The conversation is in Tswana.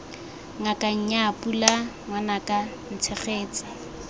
ngaka nnyaa pula ngwanaka ntshegetse